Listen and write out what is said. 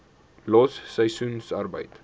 los seisoensarbeid